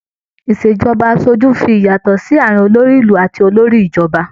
Ìṣèjọba aṣojú ń fi ìyàtò sí àárín olórí ìlú àti olórí ìjọba.